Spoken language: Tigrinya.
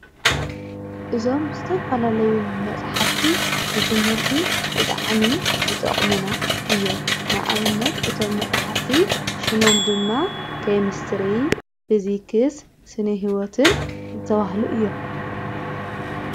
እዞም ዘተፈላለዩ መጻሕብቲ ንቲምህርቲ ብጠዕሚ ዝጠቕምና እዮ ንኣብነት እቶም መጻሕብቲ ሹሞም ድማ ከምስትሪ ፊዚክስ ስኒ ሕይወትን ዝተውህሉ እዮም::